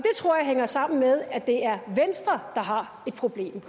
tror jeg hænger sammen med at det er venstre der har et problem